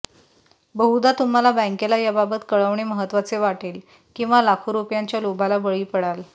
बहुधा तुम्हाला बँकेला याबाबत कळवणे महत्वाचे वाटेल किंवा लाखो रुपयांच्या लोभाला बळी पडाल